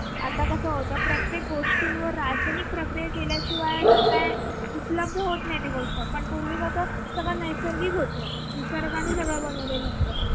आता कस होत प्रत्येक गोष्टींवर रासायनिक प्रक्रिया केल्या शिवाय उपलब्ध होत नाही कोणतीही गोष्ट पण पूर्वी कस सगळं नैसर्गिक होत निसर्गाने सगळं बनवलेलं होत.